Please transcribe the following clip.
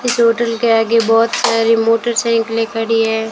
इस होटल के आगे बहोत सारी मोटरसाइकिले खड़ी हैं।